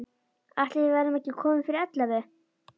Ætli við verðum ekki komin fyrir ellefu.